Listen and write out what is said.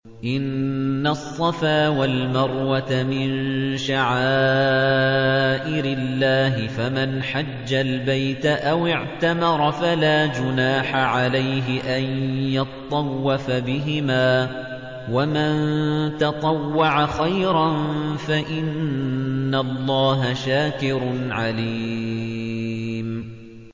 ۞ إِنَّ الصَّفَا وَالْمَرْوَةَ مِن شَعَائِرِ اللَّهِ ۖ فَمَنْ حَجَّ الْبَيْتَ أَوِ اعْتَمَرَ فَلَا جُنَاحَ عَلَيْهِ أَن يَطَّوَّفَ بِهِمَا ۚ وَمَن تَطَوَّعَ خَيْرًا فَإِنَّ اللَّهَ شَاكِرٌ عَلِيمٌ